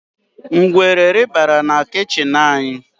Ngwere rị́barà na kichin anyi